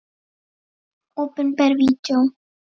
Opinber Vídeó